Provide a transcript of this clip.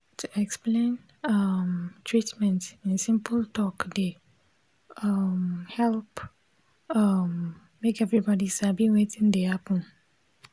to explain um treatment in simple talk dey um help um make everybody sabi wetin dey happen